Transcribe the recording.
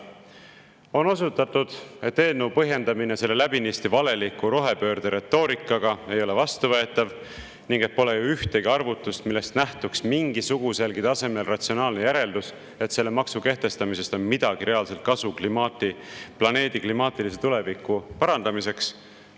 On osutatud, et eelnõu põhjendamine selle läbinisti valeliku rohepöörde retoorikaga ei ole vastuvõetav ning et pole ühtegi arvutust, millest nähtuks mingisuguselgi tasemel ratsionaalne järeldus, et selle maksu kehtestamisest on midagi reaalselt kasu planeedi klimaatilise tuleviku parandamiseks.